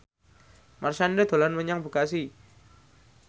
Marshanda dolan menyang Bekasi